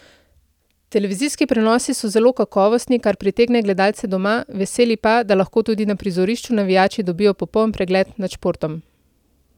Televizijski prenosi so zelo kakovostni, kar pritegne gledalce doma, veseli pa, da lahko tudi na prizorišču navijači dobijo popoln pregled nad športom.